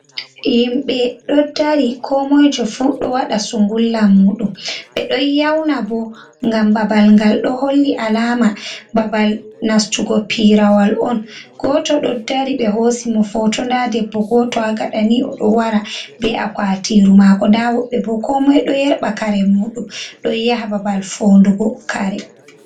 Yimɓe ɗo dari, koomoyjo fu ɗo waɗa sungulla muuɗum, ɓe ɗon yaawna bo, ngam babal ngal ɗo holli alaama babal nastugo piirawal on, gooto ɗo dari ɓe hoosi mo footo, ndaa debbo gooto ha gaɗa nii o ɗo wara be a kwaatiiru maako, ndaa woɓɓe bo ko moi ɗo yerɓa kare muuɗum ɗon yaha babal foondugo kare.